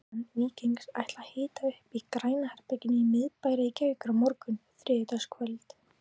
Stuðningsmenn Víkings ætla að hita upp í Græna herberginu í miðbæ Reykjavíkur á morgun þriðjudagskvöld.